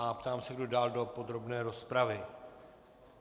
A ptám se, kdo dál do podrobné rozpravy.